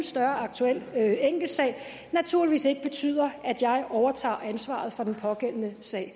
større aktuel enkeltsag naturligvis ikke betyder at jeg overtager ansvaret for den pågældende sag